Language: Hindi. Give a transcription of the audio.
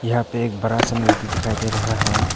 यहां पे एक बड़ा सा नदी दिखाई दे रहा है।